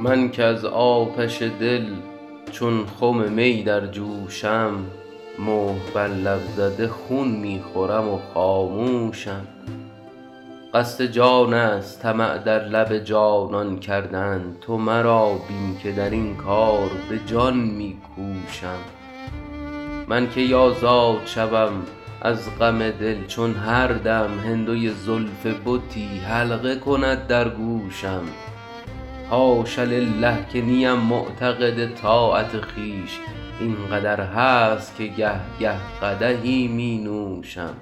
من که از آتش دل چون خم می در جوشم مهر بر لب زده خون می خورم و خاموشم قصد جان است طمع در لب جانان کردن تو مرا بین که در این کار به جان می کوشم من کی آزاد شوم از غم دل چون هر دم هندوی زلف بتی حلقه کند در گوشم حاش لله که نیم معتقد طاعت خویش این قدر هست که گه گه قدحی می نوشم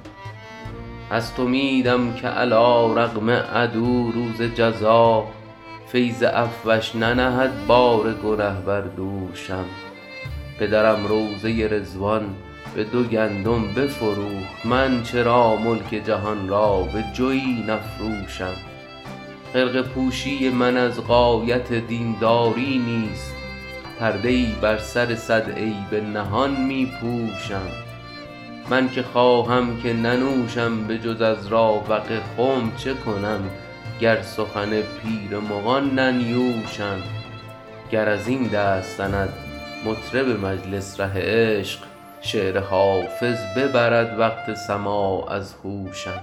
هست امیدم که علیرغم عدو روز جزا فیض عفوش ننهد بار گنه بر دوشم پدرم روضه رضوان به دو گندم بفروخت من چرا ملک جهان را به جوی نفروشم خرقه پوشی من از غایت دین داری نیست پرده ای بر سر صد عیب نهان می پوشم من که خواهم که ننوشم به جز از راوق خم چه کنم گر سخن پیر مغان ننیوشم گر از این دست زند مطرب مجلس ره عشق شعر حافظ ببرد وقت سماع از هوشم